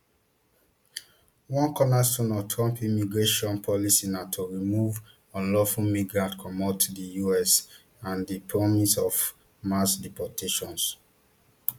one cornerstone of trump immigration policy na to remove unlawful migrants comot di us and di promise of mass deportations